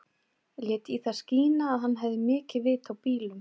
Lét í það skína að hann hefði mikið vit á bílum.